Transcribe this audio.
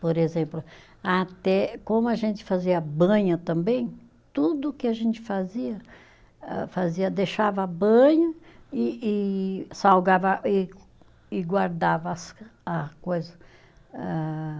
Por exemplo, até como a gente fazia banha também, tudo que a gente fazia, ah, fazia, deixava banha e e salgava e e guardava as, a coisa ah.